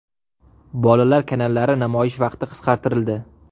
Bolalar kanallari namoyish vaqti qisqartirildi.